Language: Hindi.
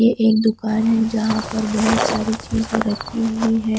ये एक दुकान है जहां पर बहुत सारी चीजें रखी हुई है।